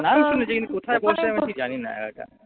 নাম শুনেছি কিন্তু কোথায় বসে আমি ঠিক জানি না এলাকা।